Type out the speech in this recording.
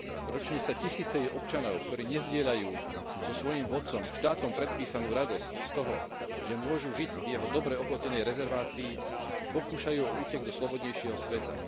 Ročne sa tisíce jej občanov, ktorí nezdieľajú so svojím vodcom štátom predpísanú radosť z toho, že môžu žiť v jeho dobre oplotenej rezervácii, pokúšajú o útek do slobodnejšieho sveta.